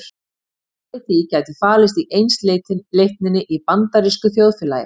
Svarið við því gæti falist í einsleitninni í bandarísku þjóðfélagi.